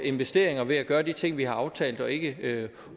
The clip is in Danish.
investeringer ved at gøre de ting vi har aftalt og ikke